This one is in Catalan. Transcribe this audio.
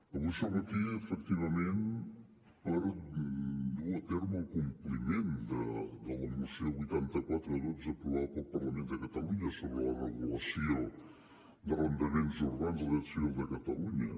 avui som aquí efectivament per dur a terme el compliment de la moció vuitanta quatre xii aprovada pel parlament de catalunya sobre la regulació d’arrendaments urbans del dret civil de catalunya